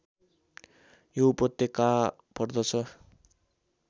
यो उपत्यका पर्दछ